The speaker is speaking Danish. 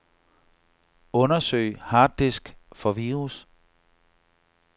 Undersøg harddisk for virus.